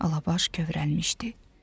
Alabaş kövrəlmişdi.